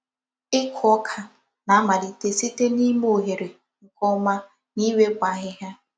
Ịkụ ụ́ká na-amalite site n’ime oghere nke ọma na iwepụ ahịhịa.